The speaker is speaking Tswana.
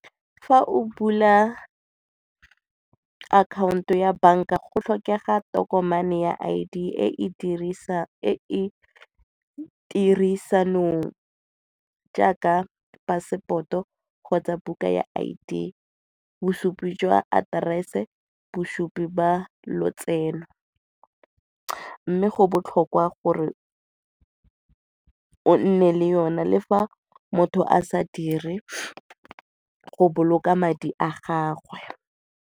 Fa o bula akhaonto ya banka go tlhokega tokomane ya I_D e e tirisanong jaaka passport-o kgotsa buka ya I_D, bosupi jwa aterese, bosupi jwa lotseno mme go botlhokwa gore o nne le yone le fa motho a sa dire go boloka madi a gagwe.